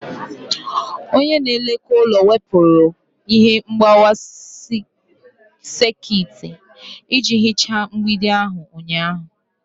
Onye na-elekọta ụlọ wepụrụ ihe mgbawa sekit iji hichaa mgbidi ahụ ụnyaahụ.